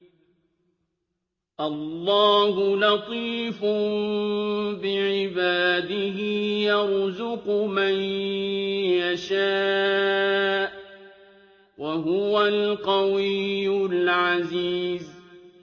اللَّهُ لَطِيفٌ بِعِبَادِهِ يَرْزُقُ مَن يَشَاءُ ۖ وَهُوَ الْقَوِيُّ الْعَزِيزُ